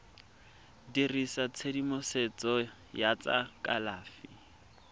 dirisa tshedimosetso ya tsa kalafi